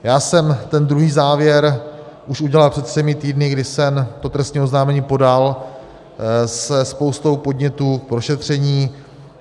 Já jsem ten druhý závěr už udělal před třemi týdny, kdy jsem to trestní oznámení podal se spoustou podnětů k prošetření.